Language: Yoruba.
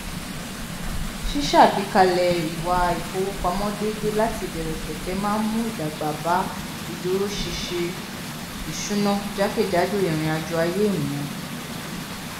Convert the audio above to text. ṣíṣàgbékalẹ ìwà ìfowópamọ déédé láti ìbẹrẹ pẹpẹ máa n mú ìdàgbà bá ìdúróṣiṣi ìṣúná jákèjádò ìrìnàjò ayé ènìyàn